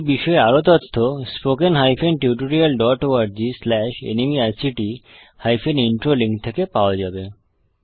এই বিষয়ে আরো তথ্য spoken tutorialorgnmeict ইন্ট্রো লিঙ্ক থেকে পাওয়া যাবে